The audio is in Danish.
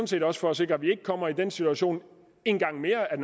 set også for at sikre at vi ikke kommer i den situation en gang mere at